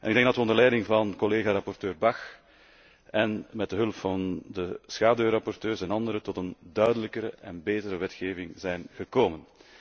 Ik denk dat we onder leiding van collega rapporteur Bach en met de hulp van de schaduwrapporteurs en anderen tot een duidelijkere en betere wetgeving zijn gekomen.